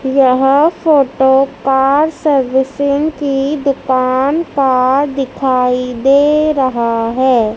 यह photo car servicing की दुकान का दिखाई दे रहा है।